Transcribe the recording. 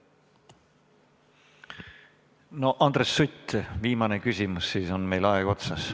Andres Sutt, viimane küsimus, siis on meil aeg otsas.